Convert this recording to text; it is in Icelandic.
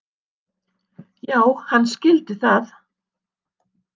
Já, hann skildi það.